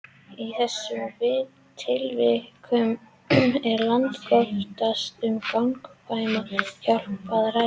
Í þessum tilvikum er langoftast um gagnkvæma hjálp að ræða.